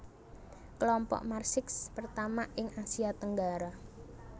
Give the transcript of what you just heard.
Kelompok Marsix pertama ing Asia Tenggara